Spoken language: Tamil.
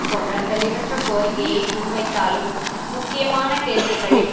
போன்ற தெளிவற்ற கோரிக்கையை முன்வைத்தாலும் முக்கியமான கேள்விகளில்